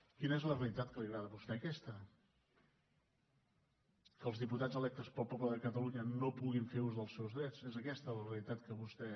quina és la realitat que li agrada a vostè aquesta que els diputats electes pel poble de catalunya no puguin fer ús dels seus drets és aquesta la realitat que vostè